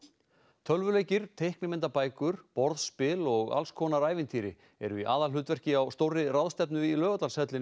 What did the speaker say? tölvuleikir borðspil og alls konar ævintýri eru í aðalhlutverki á stórri ráðstefnu í Laugardalshöllinni